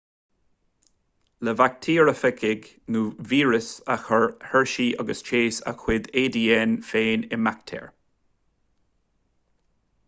le baictéarafagaigh nó víris a chuir hershey agus chase a gcuid adn féin i mbaictéar